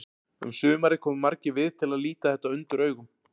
Um sumarið komu margir við til að líta þetta undur augum.